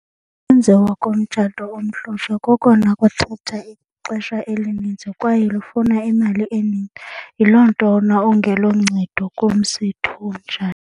Ukwenziwa komtshato omhlophe kokona kucutha ixesha elininzi kwaye lufuna imali eninzi. Yiloo nto wona ungeloncedo kumsitho onjani.